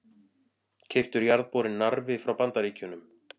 Keyptur jarðborinn Narfi frá Bandaríkjunum.